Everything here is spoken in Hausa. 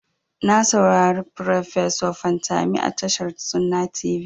Na saurari farfeso Fantami a tashar sunna tv.